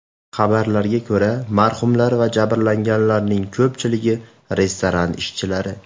Xabarlarga ko‘ra, marhumlar va jabrlanganlarning ko‘pchiligi restoran ishchilari.